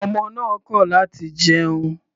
Ọmọ náà kọ láti jẹun.